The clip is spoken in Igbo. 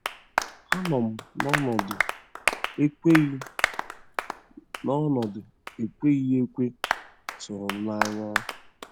Anọ m n'ọnọdụ ekweghị n'ọnọdụ ekweghị ekwe tụrụ m n'anya.